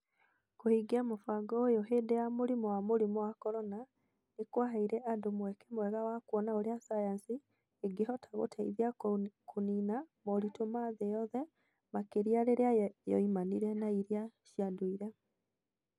Kũhingia mũbango ũyũ hĩndĩ ya mũrimũ wa mũrimũ wa Corona nĩ kwaheire andũ mweke mwega wa kuona ũrĩa sayansi ĩngĩhota gũteithia kũniina moritũ ma thĩ yothe, makĩria rĩrĩa yoimanire na iria cia ndũire.